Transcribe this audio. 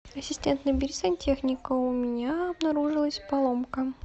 ассистент набери сантехника у меня обнаружилась поломка